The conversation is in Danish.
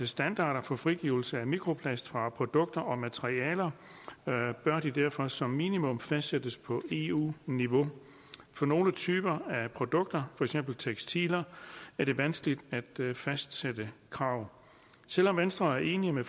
standarder for frigivelse af mikroplast fra produkter og materialer bør de derfor som minimum fastsættes på eu niveau for nogle typer af produkter for eksempel tekstiler er det vanskeligt at fastsætte krav selv om venstre er enig med